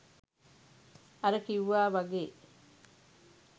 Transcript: අර කිව්වා වගේ